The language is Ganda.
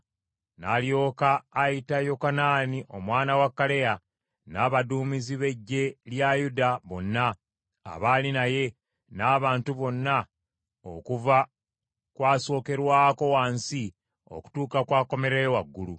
N’alyoka ayita Yokanaani omwana wa Kaleya n’abaduumizi b’eggye lya Yuda bonna abaali naye, n’abantu bonna okuva ku asokerwako wansi okutuuka ku akomererayo waggulu.